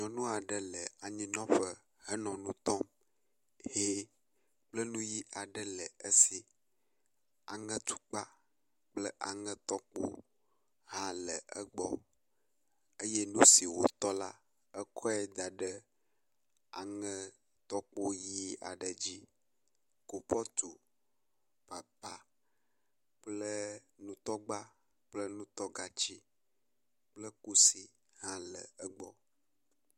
nyɔnuaɖe le anyinɔƒe henɔ nu tɔm hɛ kple nuyi aɖe le esi aŋetukpa kple aŋetɔkpo hã le egbɔ eye nusi wò tɔ la ekɔe daɖe aŋetɔkpo ɣi aɖe dzi kupɔtu papa kple nutɔgba kple nutɔgatsiwo kple kusi hã le egbɔ